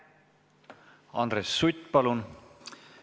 Andres Sutt, palun!